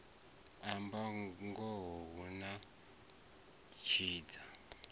amba ngoho hu a tshidza